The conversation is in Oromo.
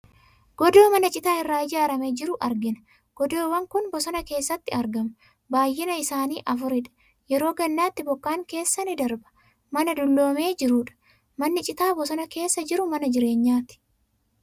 Godoo mana citaa irraa ijaaramee jiru argina. Godoowwan kun bosona keessatti argamu. Baay'inni isaanii afuridha. Yeroo gannaatti bokkaan keessa ni darba. Mana dulloomee jirudha. Manni citaa bosona keessa jiru mana jireenyaatii?